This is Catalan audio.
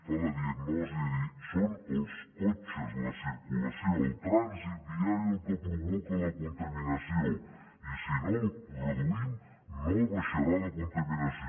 fa la diagnosi de dir són els cotxes la circulació el trànsit viari el que provoca la contaminació i si no el reduïm no baixarà la contaminació